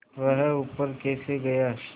वह ऊपर कैसे गया